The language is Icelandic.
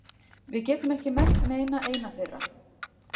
Við getum ekki merkt neina eina þeirra.